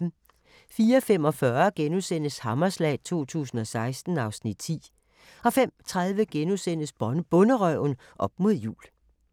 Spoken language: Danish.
04:45: Hammerslag 2016 (Afs. 10)* 05:30: Bonderøven – op mod jul *